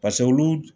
Paseke olu